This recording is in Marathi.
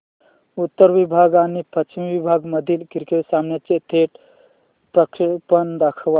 उत्तर विभाग आणि पश्चिम विभाग मधील क्रिकेट सामन्याचे थेट प्रक्षेपण दाखवा